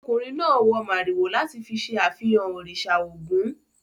Ọmọkùnrin náà wọ màrìwò láti fi ṣe àfihàn òrìsà ògún.